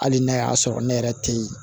Hali n'a y'a sɔrɔ ne yɛrɛ tɛ yen